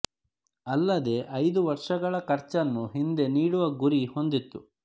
ಅಲ್ಲದೆ ಐದು ವರ್ಷಗಳ ಖರ್ಚನ್ನು ಹಿಂದೆ ನೀಡುವ ಗುರಿ ಹೊಂದಿತ್ತು